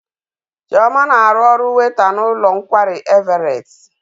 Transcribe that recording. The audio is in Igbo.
Chioma na-arụ ọrụ weyta n'ụlọ nkwari Everet.